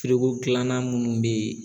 Firiko kilanan munnu bɛ ye